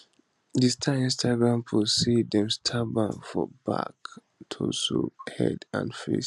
di star instagram post say dem stab am for back torso head and face